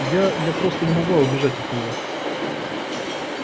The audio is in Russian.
я я просто не могла убежать от нее